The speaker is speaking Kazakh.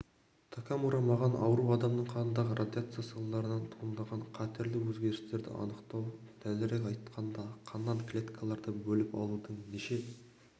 такамура маған ауру адамның қанындағы радиация салдарынан туындаған қатерлі өзгерістерді анықтауды дәлірек айтқанда қаннан клеткаларды бөліп алудың неше